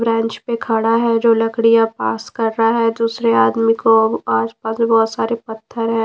Branch पे खड़ा हैजो लकड़ियां पास कर रहा है दूसरे आदमी को आसपास बहुत सारे पत्थर है।